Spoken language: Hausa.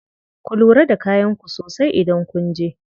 Ku lura da kayan ku sosai idan kunje.